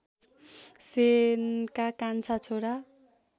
सेनका कान्छा छोरा